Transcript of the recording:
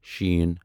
ش